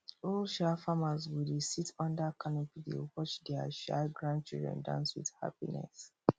old um farmers go dey sit under canopy dey watch their um grandchildren dance with happiness